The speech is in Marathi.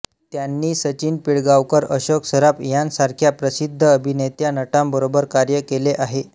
त्यांनी सचिन पिळगांवकर अशोक सराफ यांसारख्या प्रसिद्ध अभिनेेेेत्या नटांबरोबर कार्य केले आहे